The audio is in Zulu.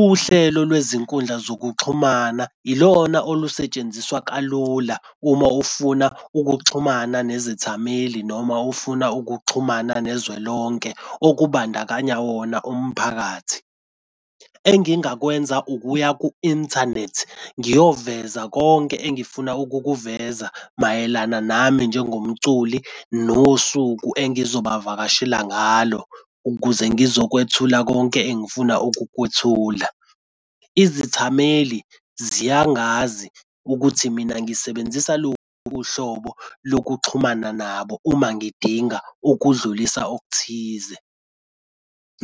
Uhlelo lwezinkundla zokuxhumana ilona olusetshenziswa kalula uma ufuna ukuxhumana nezithameli noma ufuna ukuxhumana nezwelonke okubandakanya wona umphakathi. Engingakwenza ukuya ku-inthanethi ngiyoveza konke engifuna ukukuveza mayelana nami njengomculi nosuku engizobavakashela ngalo ukuze sizokwethula konke engifuna ukukwethula. Izithameli ziyangazi ukuthi mina ngisebenzisa luphi uhlobo lokuxhumana nabo uma ngidinga ukudlulisa okuthize.